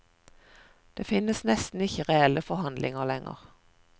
Det finnes nesten ikke reelle forhandlinger lenger.